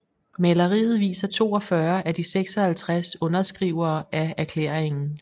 Maleriet viser 42 af de 56 underskrivere af erklæringen